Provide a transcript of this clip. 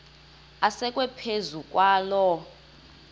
asekwe phezu kwaloo